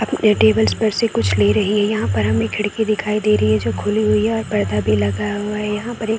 यहाँ टेबल पर से कुछ ले रही है यहाँ पर हमें खिड़की दिखाई दे रही है जो खुली हुई है और पौधा भी लगा हुआ है यहाँ पर एक --